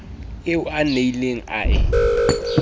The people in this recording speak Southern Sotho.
eo a nnileng a e